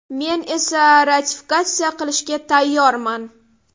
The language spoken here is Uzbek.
Men esa ratifikatsiya qilishga tayyorman.